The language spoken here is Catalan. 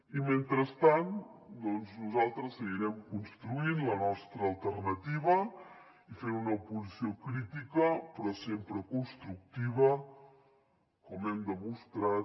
i mentrestant nosaltres seguirem construint la nostra alternativa i fent una oposició crítica però sempre constructiva com hem demostrat